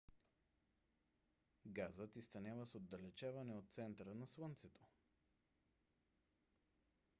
газът изтънява с отдалечаване от центъра на слънцето